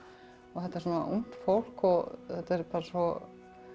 þetta er svona ungt fólk og þetta er bara svo